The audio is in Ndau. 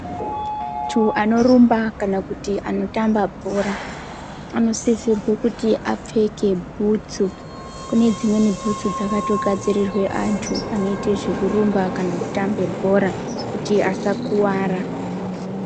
Antu anorumba kana kuti anotamba bhora anosisirwa kuti apfeke bhutsu kune dzimweni bhutsu dzakato gadzirirwa antu onoite zvekurumba kana kutamba bhora kuti asakuwara.